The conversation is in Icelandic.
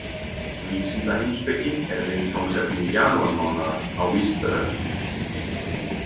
Vísindaheimspeki er viðfangsefni janúarmánaðar á Vísindavefnum.